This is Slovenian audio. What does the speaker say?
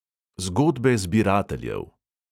Zgodbe zbirateljev.